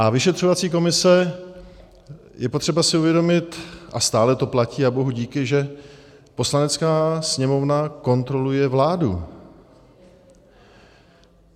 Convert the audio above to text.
A vyšetřovací komise - je třeba si uvědomit, a stále to platí, a bohu díky, že Poslanecká sněmovna kontroluje vládu.